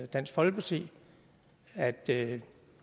dansk folkeparti at det